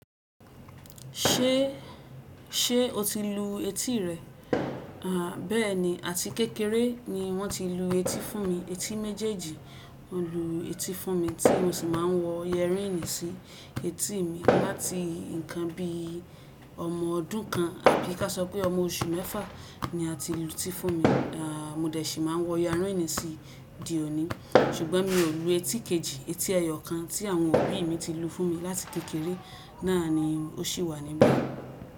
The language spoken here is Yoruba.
Ṣé, ṣe o ti lu etí rẹ? Àh bẹ́ẹ̀ni àti kékeré ni wọ́n ti lu etí fún mi, etí méjèèjì lú etí fún mi tí mo sì máa ń wọ yẹríìnì sí etí mi láti nǹkan bí i ọmọ ọdún kan àbí ká sọ pé ọmọ oṣù mẹ́fà ni a ti lu etí fún mi. À mó dẹ̀ sì máa ń wọ yẹríìnì sí ìdí òní ṣùgbọ́n mi ò lu etí kejì, etí ẹyọ kan tí àwọn ọ̀rẹ́ mi ti lu fún mi láti kékeré náà ni ó ṣì wà níbẹ̀